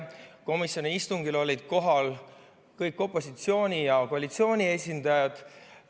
Komisjoni istungil olid kohal kõik opositsiooni ja koalitsiooni esindajad.